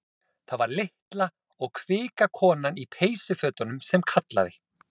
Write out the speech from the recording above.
Það var litla og kvika konan í peysufötunum sem kallaði.